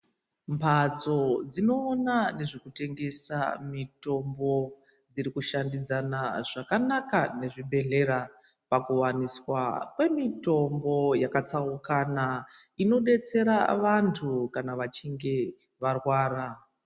Mbatso dzinoona nezvekutengesa mitombo dzirikushandisana zvakanaka nezvibhedhlera pakuwaniswa kwemitombo yakatsaukana inodetsera vantu kana vachinge varwara.